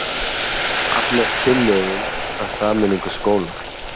Hafnar tillögum að sameiningu skóla